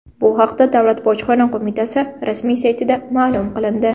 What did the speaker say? Bu haqda Davlat bojxona qo‘mitasi rasmiy saytida ma’lum qilindi .